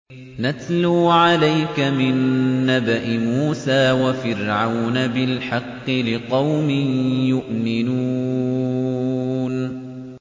نَتْلُو عَلَيْكَ مِن نَّبَإِ مُوسَىٰ وَفِرْعَوْنَ بِالْحَقِّ لِقَوْمٍ يُؤْمِنُونَ